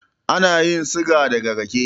Ana yin siga daga rake